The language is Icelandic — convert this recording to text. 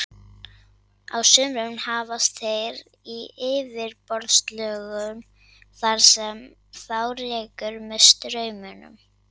Á sumrin hafast þeir við í yfirborðslögum þar sem þá rekur með straumum.